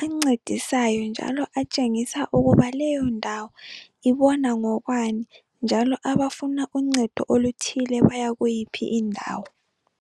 ancedisayo njalo atshengisa ukuba leyondawo ibona ngokwani njalo abafuna uncedo oluthile bayakuyiphi indawo.